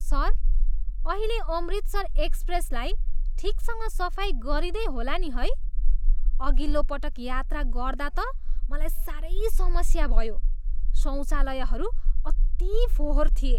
Sir, अहिले अमृतसर एक्सप्रेसलाई ठिकसँग सफाइ गरिँदै होला नि है? अघिल्लो पटक यात्रा गर्दा त मलाई साह्रै समस्या भयो। शौचालयहरू अति फोहोर थिए!